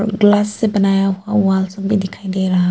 glass से बनाया हुआ भी दिखाई दे रहा--